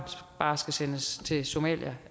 bare skal sendes til somalia